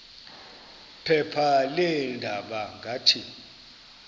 phepha leendaba ngathi